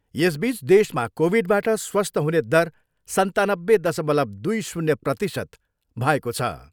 यसबिच देशमा कोभिडबाट स्वस्थ हुने दर सन्तानब्बे दसमलव दुई शून्य प्रतिशत भएको छ।